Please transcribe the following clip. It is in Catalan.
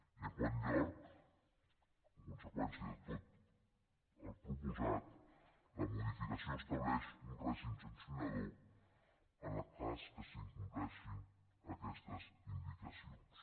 i en quart lloc en conseqüència de tot el proposat la modificació estableix un règim sancionador en el cas que s’incompleixin aquestes indicacions